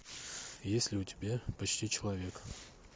есть ли у тебя почти человек